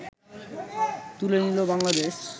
তুলে নিল বাংলাদেশ